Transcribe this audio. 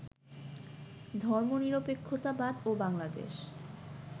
ধর্মনিরপেক্ষতাবাদ ও বাংলাদেশ